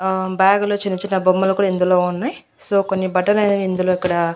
ఆ బ్యాగ్ లో చిన్న చిన్న బొమ్మలు కూడా ఇందులో ఉన్నాయి సో కొన్ని బట్టలు ఇందులో ఇక్కడ.